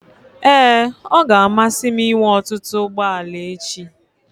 Ee, ọ ga-amasị m inwe ọtụtụ ụgbọ ala echi.